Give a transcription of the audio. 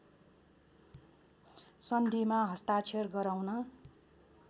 सन्धिमा हस्ताक्षर गराउन